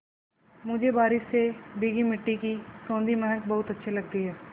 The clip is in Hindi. मुझे बारिश से भीगी मिट्टी की सौंधी महक बहुत अच्छी लगती है